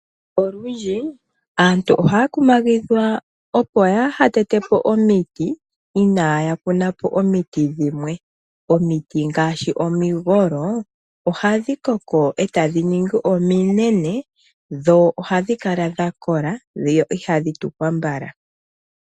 Olundji aantu ohaya kumagidhwa opo yaa ha tete po omiti inaaya kuna po omiti dhimwe. Omiti ngaashi omigolo ohadhi koko e tadhi ningi ominene, dho ohadhi kala dha kola, dho ihadhi tukwa mbala.